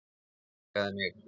Og elskaði mig.